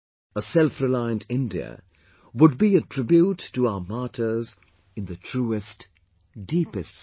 A selfreliant India would be a tribute to our martyrs in the truest, deepest sense